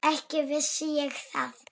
Ekki vissi ég það.